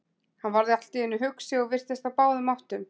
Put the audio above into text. Hann varð allt í einu hugsi og virtist á báðum áttum.